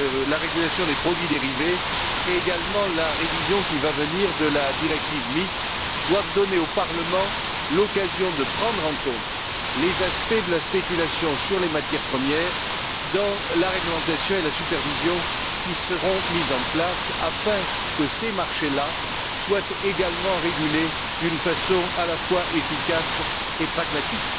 la régulation des produits dérivés et également la révision qui va venir de la directive MIF, doivent donner au Parlement l'occasion de prendre en compte les aspects de la spéculation sur les matières premières dans la réglementation et la supervision qui seront mises en place afin que ces marchés là soient également régulés d'une façon à la fois efficace et pragmatique.